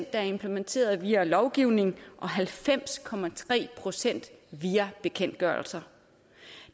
er implementeret via lovgivning og halvfems procent via bekendtgørelser